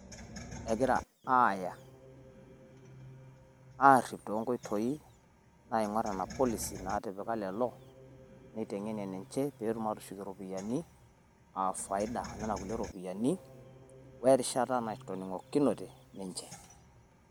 Egira aaya , aarrip toonkoitoi naing'orr nena policy naatipika lelo, neiteng'enie ninche peetum aatushukie iropiyiani aa faida enena kulie ropiyiani oo erishata natoning'okinote ninche.